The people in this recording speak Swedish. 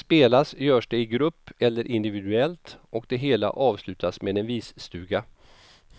Spelas görs det i grupp eller individuellt och det hela avslutas med en visstuga.